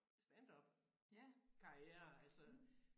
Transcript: Standupkarriere altså